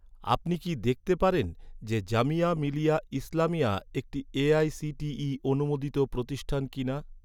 আপনি কি দেখতে পারেন যে, জামিয়া মিলিয়া ইসলামিয়া, একটি এ.আই.সি.টি.ই অনুমোদিত প্রতিষ্ঠান কিনা?